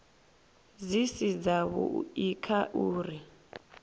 dzi si dzavhui kha uri